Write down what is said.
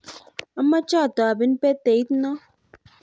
amache atobin peteit noo.